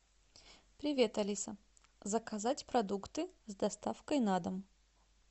привет алиса заказать продукты с доставкой на дом